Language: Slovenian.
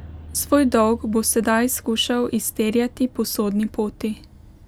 Svoj dolg bo sedaj skušal izterjati po sodni poti.